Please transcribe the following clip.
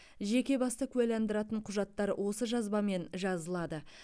жеке басты куәландыратын құжаттар осы жазбамен жазылады